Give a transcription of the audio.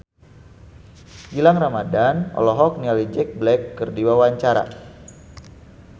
Gilang Ramadan olohok ningali Jack Black keur diwawancara